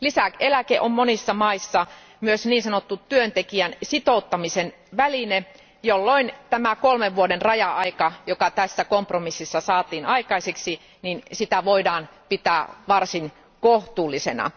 Lisäeläke on monissa maissa myös niin sanottu työntekijän sitouttamisen väline, jolloin tätä kolmen vuoden raja aikaa, joka tässä kompromississa saatiin aikaiseksi, voidaan pitää varsin kohtuullisena.